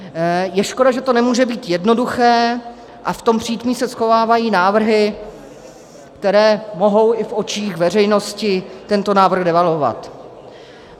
Je škoda, že to nemůže být jednoduché a v tom přítmí se schovávají návrhy, které mohou i v očích veřejnosti tento návrh devalvovat.